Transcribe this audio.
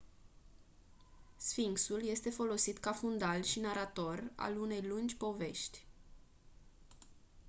sfinxul este folosit ca fundal și narator al unei lungi povești